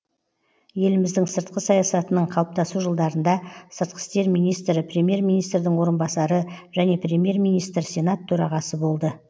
еліміздің сыртқы саясатының қалыптасу жылдарында сыртқы істер министрі премьер министрдің орынбасары және премьер министр сенат төрағасы болды